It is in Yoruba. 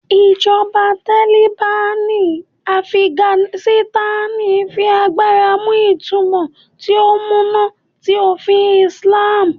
Ijọba Taliban ni Afiganisitani fi agbara mu itumọ ti o muna ti ofin Islam